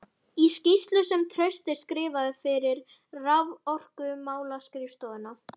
Í skýrslu sem Trausti skrifaði fyrir Raforkumálaskrifstofuna